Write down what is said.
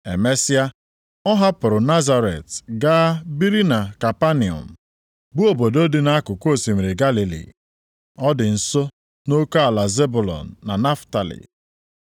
Emesịa, ọ hapụrụ Nazaret gaa biri na Kapanọm, bụ obodo dị nʼakụkụ osimiri Galili. Ọ dị nso nʼoke ala Zebụlọn na Naftalị.